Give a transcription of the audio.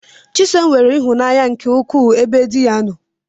Chisom nwere ihụnanya nke ukwu ebe diya nno.